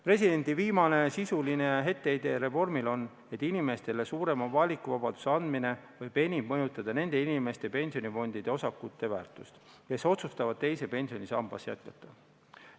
Presidendi viimane sisuline etteheide reformile on, et inimestele suurema valikuvabaduse andmine võib enim mõjutada nende inimeste pensionifondide osakute väärtust, kes otsustavad teises pensionisambas jätkata.